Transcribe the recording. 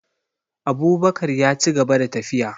Abubakar yaci gaba da tafiya